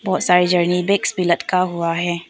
बहुत सारा journey bags भी लटका हुआ है।